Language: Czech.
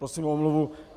Prosím o omluvu.